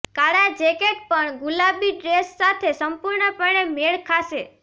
કાળા જેકેટ પણ ગુલાબી ડ્રેસ સાથે સંપૂર્ણપણે મેળ ખાશે